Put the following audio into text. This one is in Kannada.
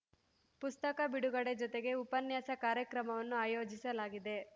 ಪುಸ್ತಕ ಬಿಡುಗಡೆ ಜೊತೆಗೆ ಉಪನ್ಯಾಸ ಕಾರ್ಯಕ್ರಮವನ್ನು ಆಯೋಜಿಸಲಾಗಿದೆ